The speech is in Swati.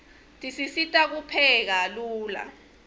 tisisita kupheka lula